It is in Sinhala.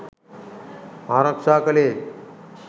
ආරක්ෂා කළේ.